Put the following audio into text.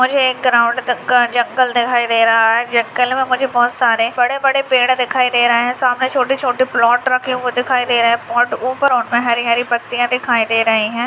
मुझे एक ग्राउंड का जंगल दिखाई दे रहा है जंगल में मुझे बहुत सारे बड़े-बड़े पेड़ दिखाई दे रहे है सामने छोटी-छोटी प्लाट रखे हुए दिखाई दे रहे है ऊपर उनमे हरी-हरी पत्तियां दिखाई दे रही है।